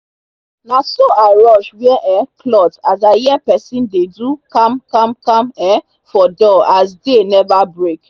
naso i rush wear um cloth as i hear pesin dey do kamkamkam um for door as day neva break